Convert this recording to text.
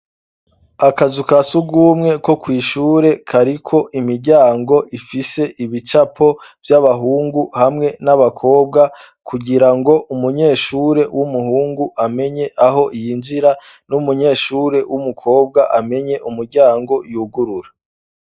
Akazu kasugumwe ko kwishure kariko imiryango ifise ibicapo by'abahungu hamwe n'abakobwa kugira ngo umunyeshure w'umuhungu amenye aho yinjira n'umunyeshure w'umukobwa amenye umuryango yugurura.